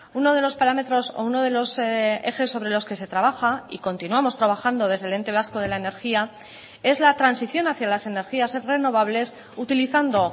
uno de los parámetros o uno de los ejes sobre los que se trabaja y continuamos trabajando desde el ente vasco de la energía es la transición hacia las energías renovables utilizando